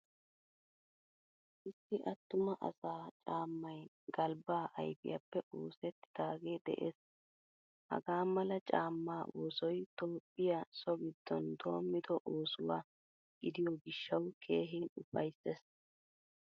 Issi attuma asa caamay galbba ayfiyappe oosettidage de'ees. Hagaamala caama oosoy toophphiyaa so giddon doommida oosuwaa gidiyo gishshawu keehin ufayssees.